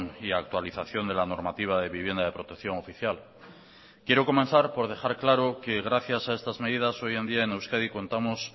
y actualización de la normativa de vivienda de protección oficial quiero comenzar por dejar claro que gracias a estas medidas hoy en día en euskadi contamos